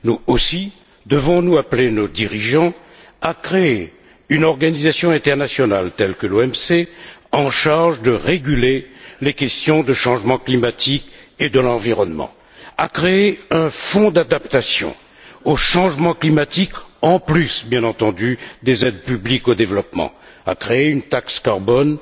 Aussi devons nous appeler nos dirigeants à créer une organisation internationale comparable à l'OMC, en charge de réguler les questions de changement climatique et d'environnement, à créer un fonds d'adaptation au changement climatique en plus, bien entendu, des aides publiques au développement à créer une taxe carbone